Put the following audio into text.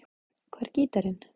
Hvar er gítarinn?